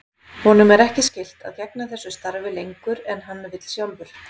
Honum er ekki skylt að gegna þessu starfi lengur en hann vill sjálfur.